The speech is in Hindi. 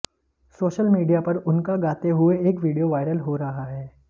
सोशल मीडिया पर उनका गाते हुए एक विडियो वायरल हो रहा है